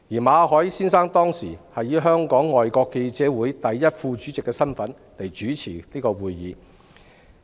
馬凱當時是以香港外國記者會第一副主席的身份主持會議。